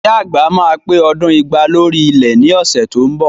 Ìyá àgbà máa pé ọdún igba lórí ilẹ̀ ni ọ̀sẹ̀ tó ń bọ̀